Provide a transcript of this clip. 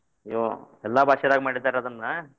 ಹ್ಮ್ ಎಲ್ಲಾ ಭಾಷೆದಾಗ ಮಾಡಿದಾರಿ ಅದ್ನ.